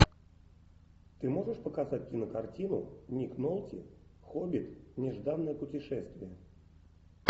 ты можешь показать кинокартину ник нолти хоббит нежданное путешествие